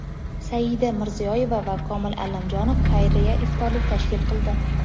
Saida Mirziyoyeva va Komil Allamjonov xayriya iftorlik tashkil qildi.